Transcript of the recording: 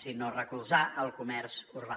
sinó recolzar el comerç urbà